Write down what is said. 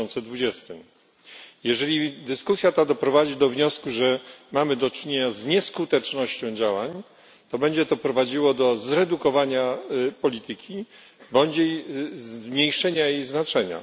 2020. Jeżeli dyskusja ta doprowadzi do wniosku, że mamy do czynienia z nieskutecznością działań, to będzie to prowadziło do ograniczenia polityki bądź zmniejszenia jej znaczenia.